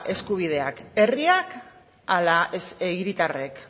eskubidea herriak ala hiritarrek